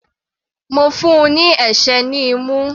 Mo fún un ní ẹ̀sẹ́ ní imú.